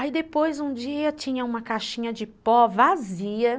Aí depois um dia tinha uma caixinha de pó vazia, né?